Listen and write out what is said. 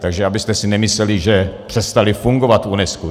Takže abyste si nemysleli, že přestaly fungovat v UNESCO.